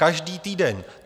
Každý týden.